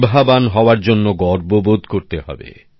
প্রতিভাবান হওয়ার জন্য গর্ব বোধ করতে হবে